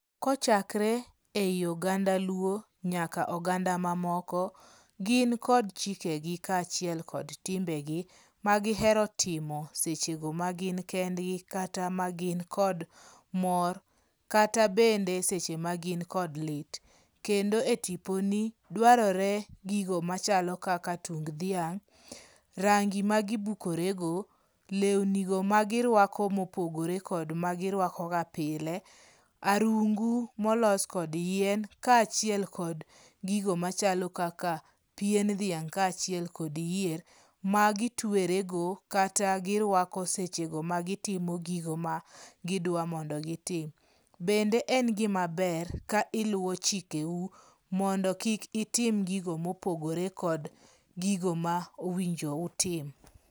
Kochakre ei oganda luo nyaka oganda mamoko, gin kod chikegi kaachiel kod timbegi magihero timo sechego ma gin kendgi, kata magin kod mor kata bende seche ma gin kod lit. Kendo etiponi dwarore gigo machalo kaka tung dhiang', rangi ma gibukore go, lewni magiruako mopogore kod magiruakoga pile, arungu molos kod yien kaachiel kod gigo machalo kaka pien dhiang' kachiel kod yier magitwerego, kata girwako sechego magitimo gigo ma gidwa mondo gitim. Bende en gima ber ka iluwo chikeu mondo kik itim gigo mopogore kod gigo ma owijo utim.